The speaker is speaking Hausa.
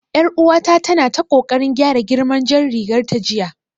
Yar uwata tana ta kokarin gyara girman jar rigar ta jiya